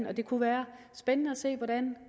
og det kunne være spændende at se hvordan